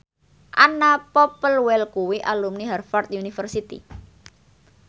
Anna Popplewell kuwi alumni Harvard university